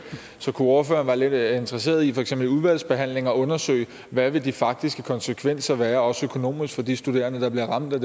så kunne ordføreren være lidt interesseret i for eksempel i udvalgsbehandlingen at undersøge hvad de faktiske konsekvenser vil være også økonomisk for de studerende der bliver ramt af